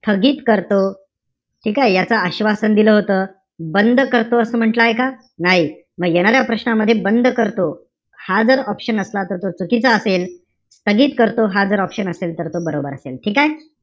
स्थगित करतो. ठीकेय? याच आश्वासन दिल होतं. बंद करतो असं म्हणटलाय का? नाही. येणाऱ्या प्रश्नामध्ये बंद करतो, हा जर option असला तर तो चुकीचा असेल. स्थगित करतो हा जर option असेल तर तो बरोबर असेल. ठीकेय?